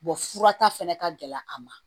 fura ta fɛnɛ ka gɛlɛn a ma